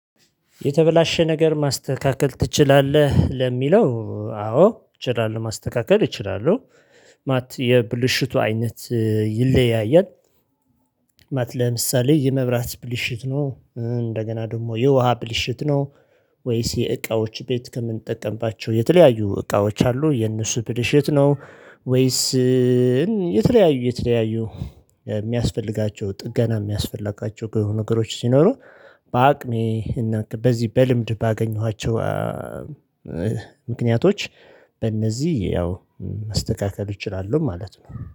የተበላሸ ነገር ማስተካከል ትችላለህ? ለሚለው አዎ እችላለሁ ማስተካከል እችላለሁ ማት የብልሽቱ አይነት ይለያያል። ማት ለምሳሌ የመብራት ብልሽት ነው እንደገና ደግሞ የውሃ ብልሽት ነው። ወይስ የእቃዎች ቤት ከምንጠቀምባቸው የተለያዩ እቃዎች አሉ የእነሱ ብልሽት ነው ወይስ? የተለያዩ የተለያዩ ሚያስፈልጋቸው ጥገና ሚያስፈልጋቸው ነገሮች ሲኖሩ። በአቅሜ እና በዚህ በልምድ ባገኘኋቸው ምክንያቶች በእነዚህ ያው ማስተካከል እችላለሁ ማለት ነው